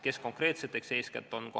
Kes konkreetselt seda tööd teeb?